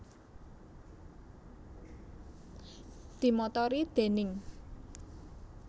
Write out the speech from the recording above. Dimotori déning